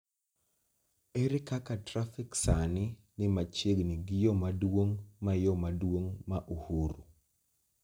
Ere kaka trafik sani ni machiegni gi yo maduong' ma yo maduong' ma Uhuru